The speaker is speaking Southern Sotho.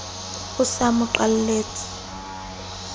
o se a mo qalletse